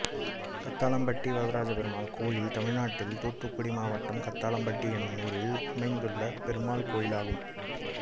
கத்தாளம்பட்டி வரதராஜப்பெருமாள் கோயில் தமிழ்நாட்டில் தூத்துக்குடி மாவட்டம் கத்தாளம்பட்டி என்னும் ஊரில் அமைந்துள்ள பெருமாள் கோயிலாகும்